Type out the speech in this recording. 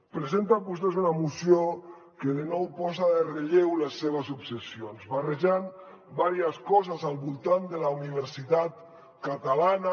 presenten vostès una moció que de nou posa en relleu les seves obsessions barrejant diverses coses al voltant de la universitat catalana